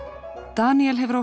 Daníel hefur á